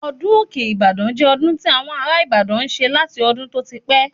Ọdún òkè - Ibadan jẹ́ ọdún tí àwọn ará ìbàdàn n ṣe láti ọdún tó ti pẹ́